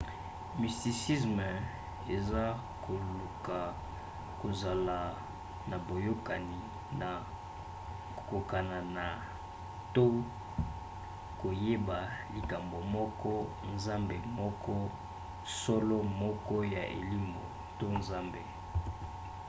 mysticisme eza koluka kozala na boyokani na kokokana na to koyeba likambo moko nzambe moko solo moko ya elimo to nzambe